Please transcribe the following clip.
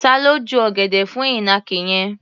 Ta ló ju ọ̀gẹ̀dẹ̀ fún ìnàkí yẹn?